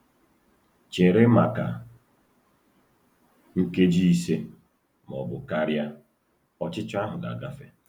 Chere maka nkeji ise ma ọ bụ karịa, ọchịchọ ahụ ga-agafe.